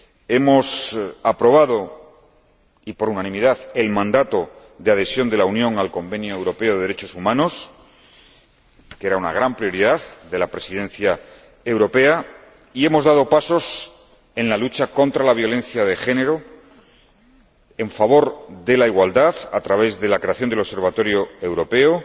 Hemos aprobado, y por unanimidad, el mandato de adhesión de la Unión al Convenio Europeo para la Protección de los Derechos Humanos, que era una gran prioridad de la Presidencia europea, y hemos dado pasos en la lucha contra la violencia de género, en favor de la igualdad, a través de la creación del Observatorio Europeo,